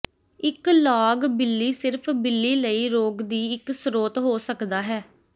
ਇੱਕ ਲਾਗ ਬਿੱਲੀ ਸਿਰਫ ਬਿੱਲੀ ਲਈ ਰੋਗ ਦੀ ਇੱਕ ਸਰੋਤ ਹੋ ਸਕਦਾ ਹੈ